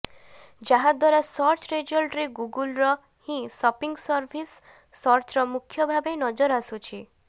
ଯାହାଦ୍ୱାରା ସର୍ଚ୍ଚ ରେଜଲ୍ଟରେ ଗୁଗଲର ହିଁ ସପିଂ ସର୍ଭିସ ସର୍ଚ୍ଚର ମୁଖ୍ୟ ଭାବେ ନଜର ଆସୁଛି